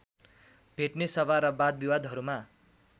भेटने सभा र वादविवादहरूमा